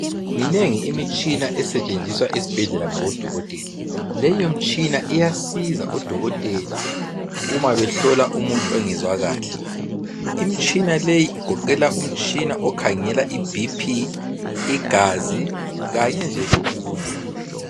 Minengi imitshina esetshenziswa esibhedlela ngabo dokotela leyo mitshina iyasiza odokotela umabehlola umuntu ongezwa kahle imtshina leyi igoqela umtshina okhangela iBP igazi kanye nje lokunye